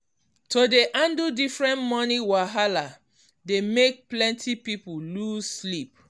to dey handle different money wahala dey make plenty people lose sleep.